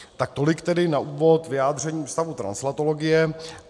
Tak tolik tedy na úvod vyjádření Ústavu translatologie.